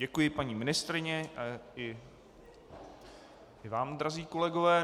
Děkuji paní ministryni i vám, drazí kolegové.